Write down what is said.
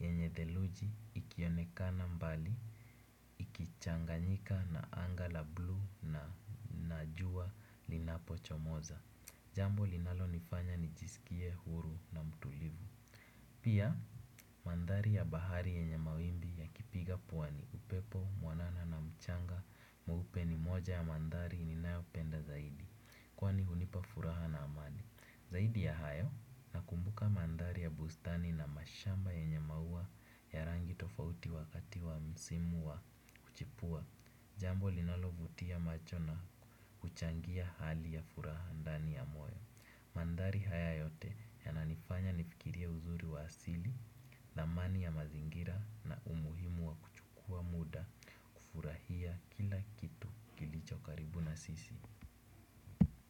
yenye theluji ikionekana mbali, ichanganyika na anga la bluu na jua linapochomoza. Jambo linalonifanya nijiskie huru na mtulivu. Pia, manthari ya bahari yenye mawimbi yakipiga pwani, upepo, mwanana na mchanga, mweupe ni moja ya manthari ninayopenda zaidi, kwani hunipa furaha na amani. Zaidi ya hayo, nakumbuka manthari ya bustani na mashamba yenye maua ya rangi tofauti wakati wa msimu wa kuchipua, jambo linalovutia macho na kuchangia hali ya furaha ndani ya moyo. Manthari haya yote yananifanya nifikirie uzuri wa asili. Thamani ya mazingira na umuhimu wa kuchukua muda kufurahia kila kitu kilicho karibu na sisi.